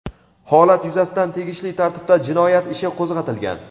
Holat yuzasidan tegishli tartibda jinoyat ishi qo‘zg‘atilgan.